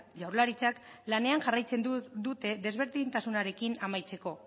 jaurlaritzak lanean jarraitzen dute desberdintasunarekin amaitzeko